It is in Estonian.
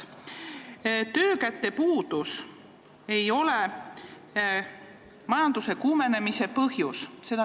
Te väitsite, et töökäte puudus ei ole majanduse kuumenemise põhjus.